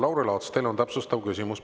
Lauri Laats, teil on täpsustav küsimus.